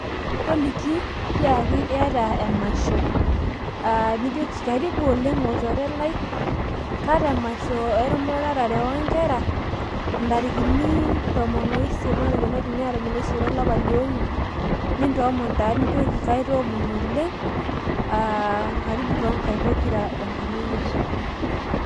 toliki tiaki iyata emasho nijoki karibu oleng' olchore lai ,aata emasho emuratare oongera ntarikini tomon oisiet olapa lee ong'uan, nintoomon oleng' nijoki karibu toongaik pokirare tankarna eyiesu.